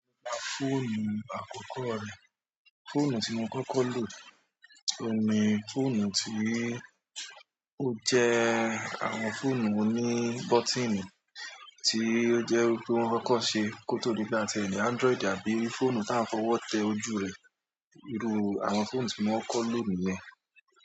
Fóònù àkọ́kọ́ mi. Fóònù tí mo kọ́kọ́ lò, òun ni fóònù tí ó jẹ́ àwọn fóònù oní bọ́tíìnì tí ó jẹ́ wípé wọ́n kọ́kọ́ ṣe kó tó di bí a tiẹ̀ ní Android àbí fóònù táà ń fọwọ́ tẹ ojú rẹ̀. Irú àwọn fóònù tí mo kọ́kọ́ lò nìyẹn.